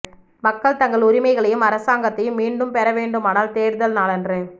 மக்கள் தங்கள் உரிமைகளையும் அரசாங்கத்தையும் மீண்டும் பெற வேண்டுமானால் தேர்தல் நாளன்று